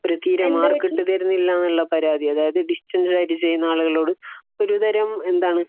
അവര് തീരെ മാർക്ക് ഇട്ട് തരില്ല ഉള്ള പരാതി അതായത് ഡിസ്റ്റൻസ് ആയിട്ട് ചെയ്യുന്ന ആളുകളോട് ഒരുതരം എന്താണ്